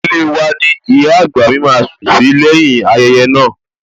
Ilée wa ni ìyá àgbà mi máa sùn sí lẹ́yìn-ín ayẹyẹ naa